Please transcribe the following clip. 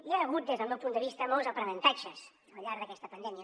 hi ha hagut des del meu punt de vista molts aprenentatges al llarg d’aquesta pandèmia